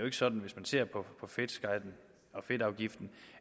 ikke sådan hvis man ser på fedtskatten og fedtafgiften